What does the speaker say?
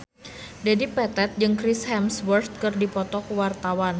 Dedi Petet jeung Chris Hemsworth keur dipoto ku wartawan